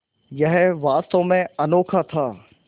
यह वास्तव में अनोखा था